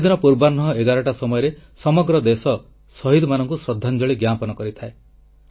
ସେଦିନ ପୂର୍ବାହ୍ନ 11ଟା ସମୟରେ ସମଗ୍ର ଦେଶ ଶହୀଦମାନଙ୍କୁ ଶ୍ରଦ୍ଧାଞ୍ଜଳି ଜ୍ଞାପନ କରିଥାଏ